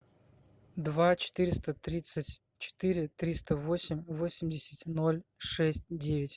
два четыреста тридцать четыре триста восемь восемьдесят ноль шесть девять